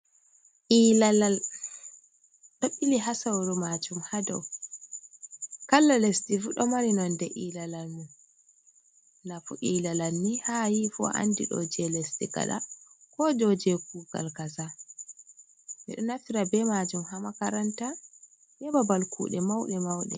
ilalal ɗo ɓili ha sauru majuum hadou kalla lesdi fuu ɗo mari nonde ilalalmu, nafu ilalal ni ha ayahi fuu andi ɗo je lesdi kada ko joje kugal kaza ɓe ɗo nafira be majuum ha makaranta, babal kude mauɗe mauɗe.